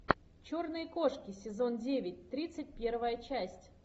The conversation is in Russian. черные кошки сезон девять тридцать первая часть